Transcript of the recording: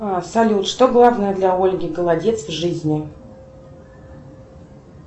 салют что главное для ольги голодец в жизни